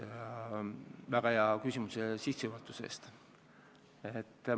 Aitäh väga hea küsimuse eest ja eriti selle väga hea sissejuhatuse eest!